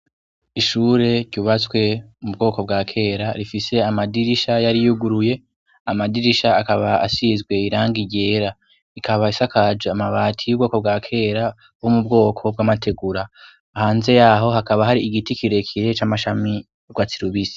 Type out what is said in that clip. Ishure ryubatswe mu bwoko bwa kera rifise amadirisha yari yuguruye; amadirisha akaba asizwe irangi ryera. Ikaba isakaje amabati y'ubwoko bwa kera bo mu bwoko bw'amategura. Hanze yaho hakaba hari igiti kirekire c'amashami y'urwatsi rubisi.